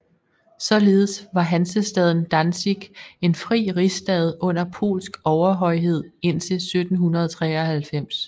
Således var hansestaden Danzig en fri rigsstad under polsk overhøjhed indtil 1793